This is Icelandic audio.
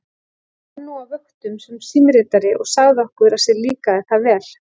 Hann vann nú á vöktum sem símritari og sagði okkur að sér líkaði það vel.